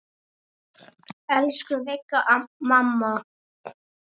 Elsku Vigga mamma.